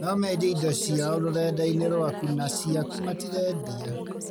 No mendie indo ciao rũrenda-inĩ rwaku na ciaku matirendia